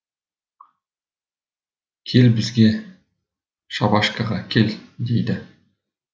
кел бізге шабашкаға кел дейді